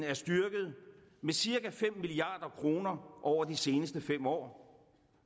er styrket med cirka fem milliard kroner over de seneste fem år